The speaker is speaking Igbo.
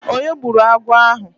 Onye gburu agwọ̀ ahụ?